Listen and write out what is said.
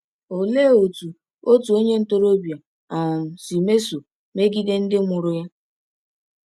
Olee otú otu onye ntorobịa um si mesoo mmegide ndị mụrụ ya?